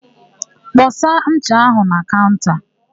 Kpọsa ncha áhụ̀ na kaụnta!